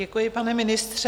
Děkuji, pane ministře.